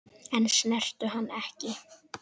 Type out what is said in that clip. En snertu hana ekki.